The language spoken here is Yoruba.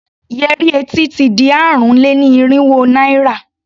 Yẹrí etí ti di ààrùn-lé-ní-irínwó naira.